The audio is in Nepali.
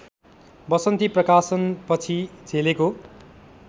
वसन्ती प्रकाशनपछि झेलेको